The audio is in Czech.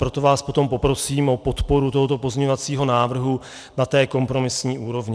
Proto vás potom poprosím o podporu tohoto pozměňovacího návrhu na té kompromisní úrovni.